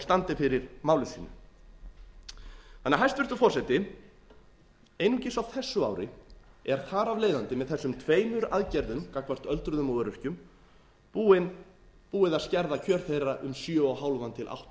standi fyrir máli sínu hæstvirtur forseti einungis á þessu ári er þar af leiðandi með þessum tveimur aðgerðum gagnvart öldruðum og öryrkjum búið að skerða kjör þeirra um sjö og hálf átta